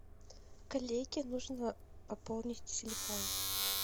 коллеге нужно пополнить телефон